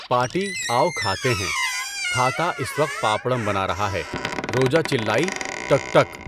Party, آؤ کھاتے ہیں۔ تھاتا اس وقت پاپڑم بنا رہا ہے۔ روجا چلائی، ٹک ٹک!